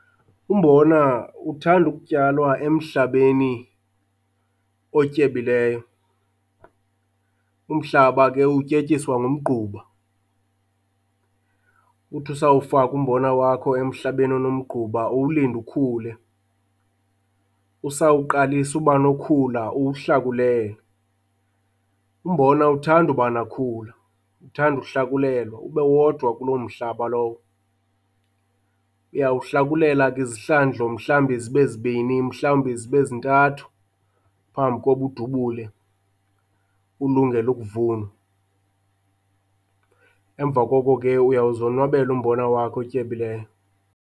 Umbona uthanda ukutyalwa emhlabeni otyebileyo. Umhlaba ke utyetyiswa ngumgquba, uthi usawufaka umbona wakho emhlabeni onomgquba uwulinde ukhule. Usawuqalisa ubanokhula uwuhlakulele, umbona awuthandi ubanakhula uthanda uhlakulelwa ube wodwa kuloo mhlaba lowo. Uyawuhlakulela ke izihlandlo mhlawumbi zibe zibini mhlawumbi zibe zintathu phambi koba udubule ulungele ukuvunwa, emva koko ke uyawuzonwabela umbona wakho otyebileyo.